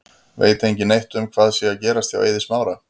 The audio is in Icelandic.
Veit engin neitt um hvað sé að gerast hjá Eiði Smára?